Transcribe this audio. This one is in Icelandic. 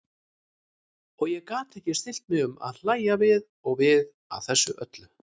Og ég gat ekki stillt mig um að hlægja við og við að þessu öllu.